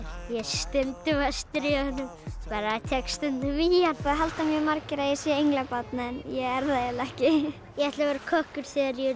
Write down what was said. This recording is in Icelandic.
ég er stundum að stríða honum bara tek stundum í hann það halda mjög margir að ég sé englabarn en ég er það ekki ég ætla að verða kokkur þegar ég